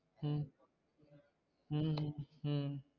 உம் உம் உம்